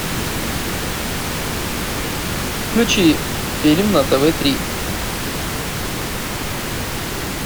включи фильм на тв три